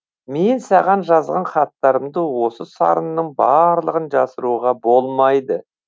мен саған жазған хаттарымды осы сарынның барлығын жасыруға болмайды